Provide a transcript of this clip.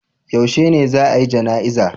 Yaushe ne za'a yi jana'iza?